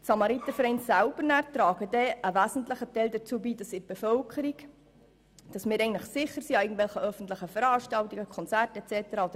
Die Samaritervereine selber tragen einen wesentlichen Teil dazu bei, dies an öffentlichen Veranstaltungen wie Konzerten und so weiter.